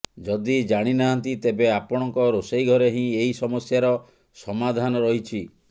ଯଦି ଜାଣିନାହାନ୍ତି ତେବେ ଆପଣଙ୍କ ରୋଷେଇ ଘରେ ହିଁ ଏହି ସମସ୍ୟାର ସମାଧାନ ରହିଛି